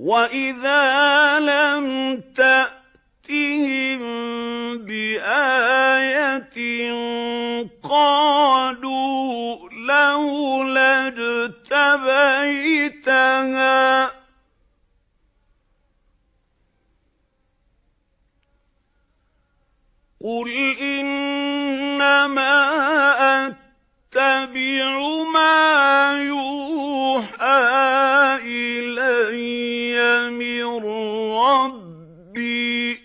وَإِذَا لَمْ تَأْتِهِم بِآيَةٍ قَالُوا لَوْلَا اجْتَبَيْتَهَا ۚ قُلْ إِنَّمَا أَتَّبِعُ مَا يُوحَىٰ إِلَيَّ مِن رَّبِّي ۚ